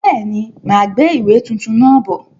Bẹ́ẹ̀ni, máa gbé ìwé tuntun náà bọ̀.